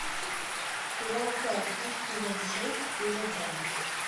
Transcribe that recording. сериал царство сезон шесть серия два